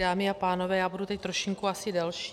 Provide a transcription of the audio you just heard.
Dámy a pánové, já budu teď trošku asi delší.